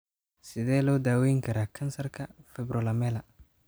Sidee loo daweyn karaa kansarka fibrolamellar?